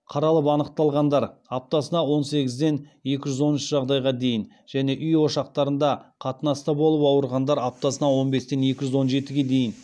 қаралып анықталғандар және үй ошақтарында қатынаста болып ауырғандар